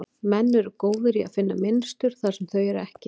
Menn eru góðir í að finna mynstur þar sem þau eru ekki.